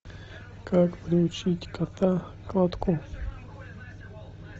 как приучить кота к лотку